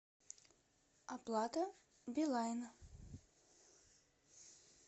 оплата билайна